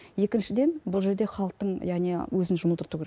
екіншіден бұл жерде халықтың яғни өзін жұмылдыру керек